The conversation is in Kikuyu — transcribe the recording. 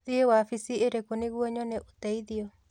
Thiĩ wabici ĩrĩkũ nĩguo nyone ũteithio